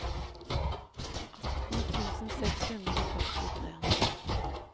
atten tusen seks hundre og førtitre